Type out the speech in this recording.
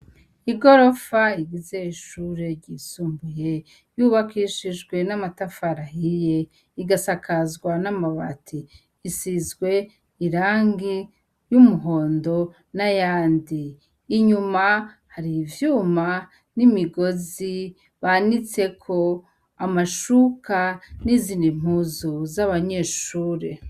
Igorofa rigize ishure ryisumbuye ryubakishijwe namatafari ahiye rikasakazwa namabati risizwe irangi ryumuhondo nayandi inyuma harivyuma nimigozi banitseko amashuka nizindi mpuzu zabanyeshure